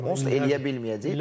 Onu onsuz da eləyə bilməyəcəyik.